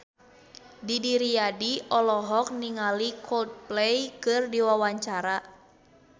Didi Riyadi olohok ningali Coldplay keur diwawancara